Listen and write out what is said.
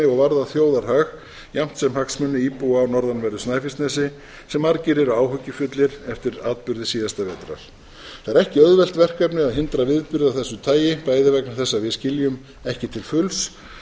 og varða þjóðarhag jafnt sem hagsmuni íbúa á norðanverðu snæfellsnesi sem margir eru áhyggjufullir eftir atburði síðasta vetrar það er ekki auðvelt verkefni að hindra viðburði af þessu tagi bæði vegna þess að við skiljum ekki til fulls